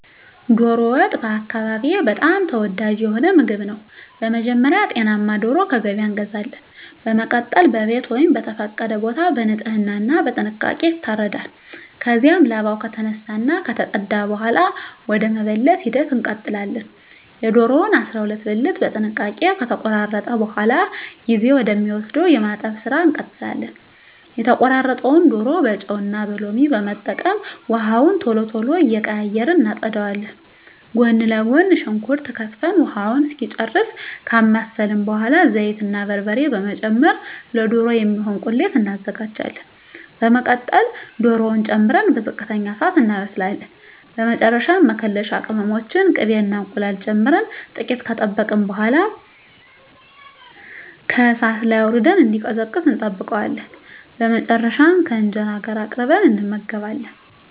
ዶሮ ወጥ በአካባቢየ በጣም ተወዳጅ የሆነ ምግብ ነው። በመጀመሪያ ጤናማ ዶሮ ከገበያ እንገዛለን። በመቀጠል በቤት ወይም በተፈቀደ ቦታ በንጽህና እና በጥንቃቄ ይታረዳል። ከዚያም ላባው ከተነሳ እና ከተፀዳ በኃላ ወደ መበለት ሂደት እንቀጥላለን። የዶሮውን 12 ብልት በጥንቃቄ ከተቆራረጠ በኃላ ጊዜ ወደ ሚወስደው የማጠብ ስራ እንቀጥላለን። የተቆራረጠውን ዶሮ በጨው እና ሎሚ በመጠቀም ውሃውን ቶሎ ቶሎ እየቀያየርን እናፀዳዋለን። ጎን ለጎን ሽንኩርት ከትፈን ውሃውን እስኪጨርስ ካማሰልን በኃላ ዘይት እና በርበሬ በመጨመር ለዶሮ የሚሆን ቁሌት እናዘጋጃለን። በመቀጠል ዶሮውን ጨምረን በዝቅተኛ እሳት እናበስላለን። በመጨረሻ መከለሻ ቅመሞችን፣ ቅቤ እና እንቁላል ጨምረን ጥቂት ከጠበቅን በኃላ ከእሳት ላይ አውርደን እንዲቀዘቅዝ እንጠብቀዋለን። በመጨረሻም ከእንጀራ ጋር አቅርበን እንመገባለን።